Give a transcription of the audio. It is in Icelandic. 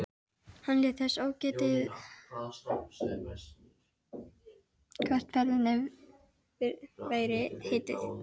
Hann lét þess ógetið hvert ferðinni væri heitið.